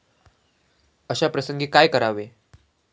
अशा प्रसंगी काय करावे?